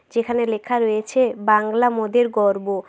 যেখানে লেখা রয়েছে বাংলা মোদের গর্ব।